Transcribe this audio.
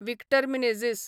Victor Menezes